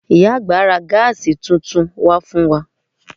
Ìyá àgbà ra Gas tuntun wá fún wa